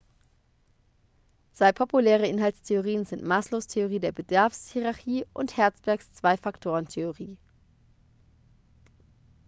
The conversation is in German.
zwei populäre inhaltstheorien sind maslows theorie der bedarfshierarchie und hertzbergs zwei-faktoren-theorie